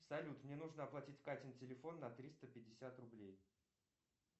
салют мне нужно оплатить катин телефон на триста пятьдесят рублей